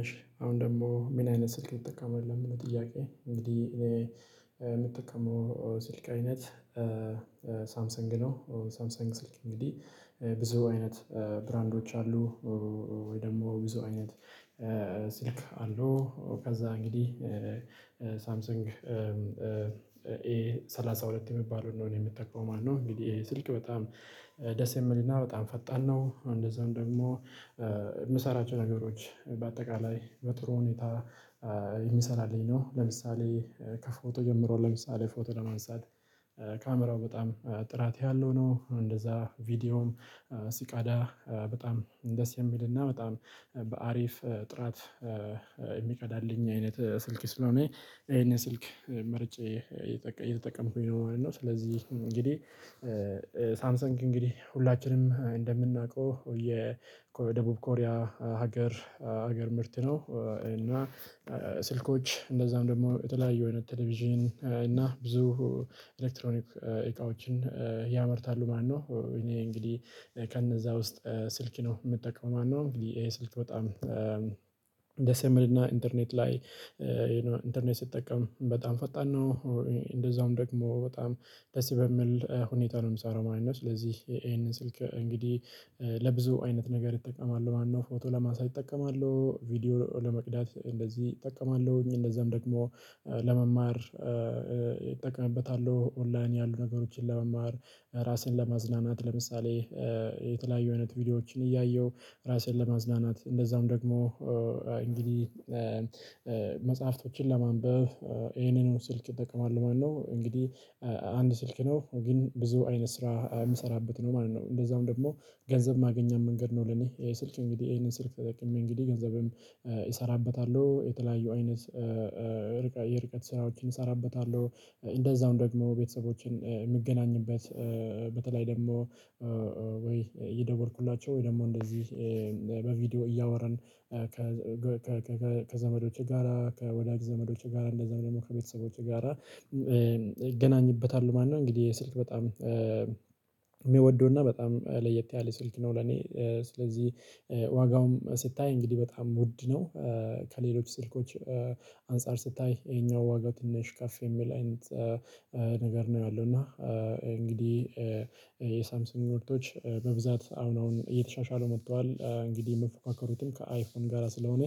እሺ አሁን ደግሞ ምን አይነት ስልክ ትጠቀማለህ? ለሚለው ጥያቄ እንግዲህ እኔ የምጠቀመው ስልክ አይነት ነው ሳምሰንግ ስልክ እንግዲህ ብዙ አይነት ብራንዶች አሉ። ወይ ደግሞ ብዙ አይነት ስልክ አሉ ከዛ እንግዲህ ሳምሰንግ ኤ ሰላሳ ሁለት የሚባለው እንደሆነ የሚታየው ማለት ነው። እንግዲህ ስልክ በጣም ደስ የምልና በጣም ፈጣን ነው። እንደዛውም ደግሞ የምሰራቸው ነገሮች በአጠቃላይ በጥሩ ሁኔታ የሚሰራልኝ ነው። ለምሳሌ ከፎቶ ጀምሮ ለምሳሌ ፎቶ ለመንሳት ካሜራው በጣም ጥራት ያለው ነው። እንደዛ ቪዲዮም ሲቀዳ በጣም ደስ የሚልና በጣም በአሪፍ ጥራት የሚቀዳልኝ አይነት ስልክ ስለሆነ ይሄንን ስልክ ምርጫ እየተጠቀምኩኝ ነው ማለት ነው። ስለዚህ እንግዲህ ሳምሰንግ እንግዲህ ሁላችንም እንደምናውቀው የደቡብ ኮሪያ ሀገር ሀገር ምርት ነው። እና ስልኮች እንደዛም ደግሞ የተለያዩ አይነት ቴሌቪዥን እና ብዙ ኤሌክትሮኒክ እቃዎችን ያመርታሉ ማለት ነው። እኔ እንግዲህ ከነዛ ውስጥ ስልክ ነው የምትጠቀመው ማለት ነው። እንግዲህ ይሄ ስልክ በጣም ድስ የሚል እና ኢንተርኔት ላይ ኢንተርኔት ስጠቀም በጣም ፈጣን ነው እንደዛውም ደግሞ በጣም ደስ በሚል ሁኔታ ነው የምሰራው ማለት ነው። ስለዚህ ይሄንን ስልክ እንግዲህ ለብዙ አይነት ነገር እጠቀማለሁ ማለት ነው። ፎቶ ለማንሳት እጠቀማሉ ቪዲዮ ለመቅዳት እንደዚህ እጠቀማለሁኝ እንደዛም ደግሞ ለመማር እጠቀምበታለሁ ኦንላይን ያሉ ነገሮችን ለመማር ራስን ለማዝናናት ለምሳሌ የተለያዩ አይነት ቪዲዮዎችን እያየሁ ራሴን ለማዝናናት እንደዛም ደግሞ እንግዲህ መጽሐፍቶችን ለማንበብ ይሄንን ስልክ እጠቀማለሁ ማለት ነው። እንግዲህ አንድ ስልክ ነው ግን ብዙ አይነት ስራ የምሰራበት ነው ማለት ነው። እንደዛውም ደግሞ ገንዘብ ማግኛም መንገድ ነው። ለኔ ይሄ ስልክ እንግዲህ ይሄንን ስልክ ተጠቅሜ እንግዲህ ገንዘብም እሰራበታለሁ የተለያዩ አይነት የርቀት ስራዎችን እሰራበታለሁ። እንደዛውም ደግሞ ቤተሰቦችን የምገናኝበት በተለይ ደግሞ ወይ እየደወልኩላቸው ወይ ደግሞ እንደዚህ በቪዲዮ እያወራን ከዘመዶቼ ጋራ ከወዳጅ ዘመዶችህ ጋራ እንደዛም ደግሞ ከቤተሰቦችህ ጋራ እገናኝበታለሁ ማለት ነው። እንግዲህ ስልክ በጣም በጣም ለየት ያለ ስልክ ነው። ለኔ ስለዚህ ዋጋውም ስታይ እንግዲህ በጣም ውድ ነው። ከሌሎች ስልኮች አንፃር ስታይ ይሄኛው ዋጋ ትንሽ ከፍ የሚል አይነት ነገር ነው ያለው። እና እንግዲህ የሳምሰንግ ምርቶች በብዛት አሁን አሁን እየተሻሻሉ መጥተዋል። እንግዲህ የምፎካከሩትም ጋር ስለሆነ